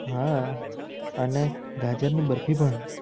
હા અને ગાજર ની બરફી પણ